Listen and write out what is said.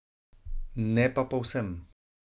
Ne pa povsem.